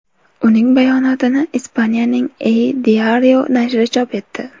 Uning bayonotini Ispaniyaning El Diario nashri chop etdi.